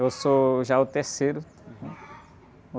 Eu sou já o terceiro.